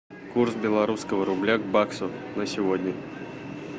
курс белорусского рубля к баксу на сегодня